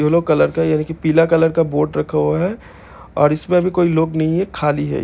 yellow colour का यानी की पीला कलर का बोट रखा हुआ है और इसमें भी कोई लोग नहीं है खाली है ये--